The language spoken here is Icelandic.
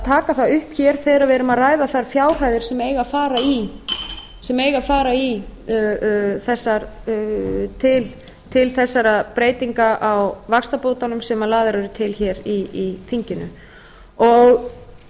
taka það upp hér þegar við erum að ræða þær fjárhæðir sem eiga að fara til þessara breytinga á vaxtabótunum sem lagðar eru til hér í þinginu það